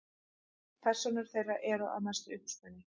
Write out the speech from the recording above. Persónur þeirra eru að mestu uppspuni.